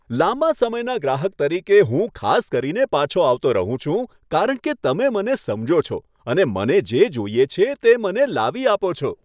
લાંબા સમયના ગ્રાહક તરીકે હું ખાસ કરીને પાછો આવતો રહું છું, કારણ કે તમે મને સમજો છો અને મને જે જોઈએ છે તે મને લાવી આપો છો.